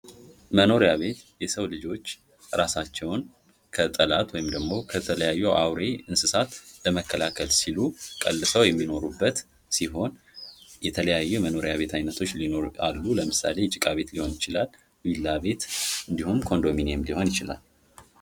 መኖሪያ ቤት የሰው ልጆች እራሳቸውን ከጠላት ወይንም ደግሞ ከተለያዩ አውሬ እንስሳት ለመከላከል ሲሉ ቀልሰው የሚኖሩበት ሲሆን የተለያዩ የመኖሪያ ቤት አይነቶች አሉ። ለምሳሌ፦ ጭቃ ቤት ሊሆን ይችላል፥ ቢላ ቤት፥ እንዲሁም ኮንዶምኒየም ሊሆን ይችላል።